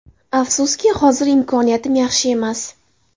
Afsuski, hozir imkoniyatim yaxshi emas.